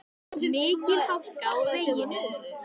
Mikil hálka er á vegum.